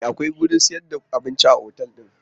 E, akwai wurin sayar da abinci a otal din.